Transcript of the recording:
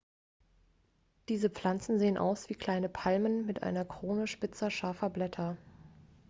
diese pflanzen sehen aus wie kleinen palmen mit einer krone spitzer scharfer blätter